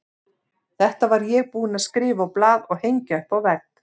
Þetta var ég búinn að skrifa á blað og hengja upp á vegg.